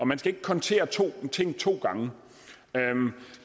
man skal ikke kontere ting to gange